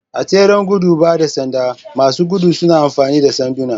A tseren gudun ba da sanda, masu gudu suna amfani da sanduna.